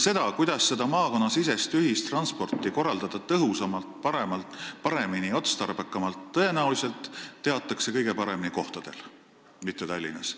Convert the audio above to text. Seda, kuidas seda maakonnasisest ühistransporti korraldada tõhusamalt, paremini ja otstarbekamalt, teatakse tõenäoliselt kõige paremini kohapeal, mitte Tallinnas.